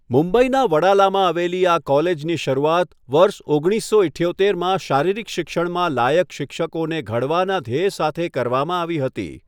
મુંબઈના વડાલામાં આવેલી આ કોલેજની શરૂઆત વર્ષ ઓગણીસો ઈઠ્યોતેરમાં શારીરિક શિક્ષણમાં લાયક શિક્ષકોને ઘડવાના ધ્યેય સાથે કરવામાં આવી હતી.